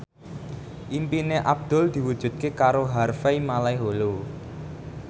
impine Abdul diwujudke karo Harvey Malaiholo